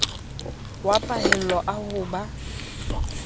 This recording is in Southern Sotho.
wa pahello a ho ba